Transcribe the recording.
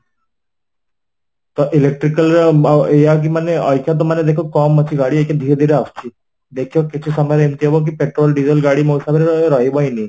ତ electrical ର ଅ ଏଇଆ ମାନେ ଅଇଚା ତ ମାନେ ଦେଖ କମ ଅଛି ଗାଡି ଏଇକା ଧୀରେ ଧୀରେ ଆସୁଛି ଦେଖିବ କିଛି ସମୟରେ ଏମିତି ହବକି petrol ,diesel ଗାଡି ମସାଙ୍ଗେରେ ର ରହିବହିଁ ନାହିଁ